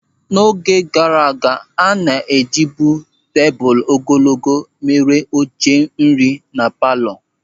N'oge gaara aga, a na-ejibu tebụl ogologo mere oche nri na palọ.